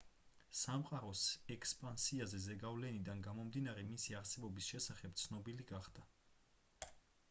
სამყაროს ექსპანსიაზე ზეგავლენიდან გამომდინარე მისი არსებობის შესახებ ცნობილი გახდა